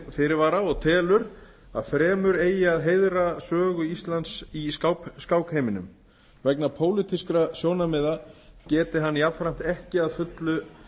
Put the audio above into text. fyrirvara og telur að fremur eigi að heiðra sögu íslands í skákheiminum vegna pólitískra sjónarmiða geti hann jafnframt ekki að fullu